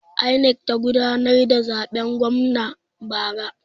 INEC ta gudanar da zaben gwamna bara.